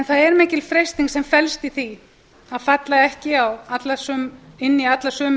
er mikil freisting sem felst í því að falla ekki inn í alla sömu